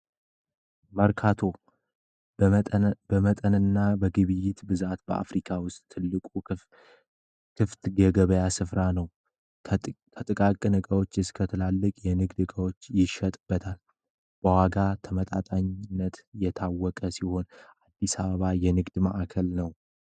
መርካቶ በመጠንና በግብይት ብዛት በአፍሪካ ውስጥ ትልቁ ክፍት ገገበያ ስፍራ ነው ተጥቃቅ ነጋዎች እስከትላልቅ የንግድ እጋዎች ይሸጥበታል በዋጋ ተመጣጣነት የታወቀ ሲሆን አዲሳባ የንግድ ማዕከል ነው፡፡